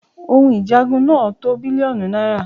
òhun ìjagun náà tó bílíọ̀nù náírà